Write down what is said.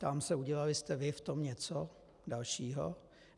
Ptám se, udělali jste vy v tom něco dalšího?